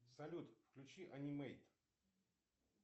салют включи анимейт